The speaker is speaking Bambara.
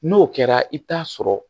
N'o kɛra i bɛ t'a sɔrɔ